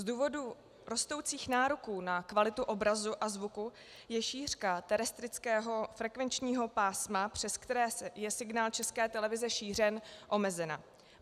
Z důvodu rostoucích nároků na kvalitu obrazu a zvuku je šířka terestrického frekvenčního pásma, přes které je signál České televize šířen, omezena.